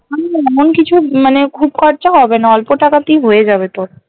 আমি এমন কিছু মানে খুব খরচা হবে না অল্প টাকাতেই হয়ে যাবে তোর